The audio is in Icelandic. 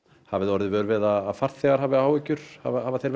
hafið þið orðið vör við að farþegar hafi áhyggjur hafa þeir